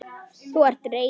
Þú ert reiður.